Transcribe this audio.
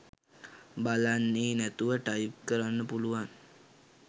බලන්නේ නැතුව ටයිප් කරන්න පුලුවන්